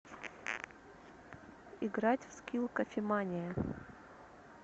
играть в скилл кофемания